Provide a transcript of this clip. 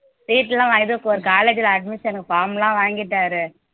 seat எல்லாம் வாங்கிட்டு ஒரு college ல admission க்கு எனக்கு form எல்லாம் வாங்கிட்டாரு